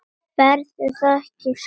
Verður það ekki skrítið?